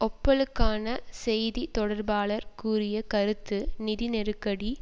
ஓப்பெலுக்கான செய்தி தொடர்பாளர் கூறிய கருத்து நிதி நெருக்கடி